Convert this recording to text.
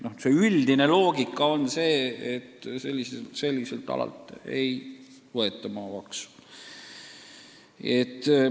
Aga üldine loogika on see, et selliselt alalt ei võeta maamaksu.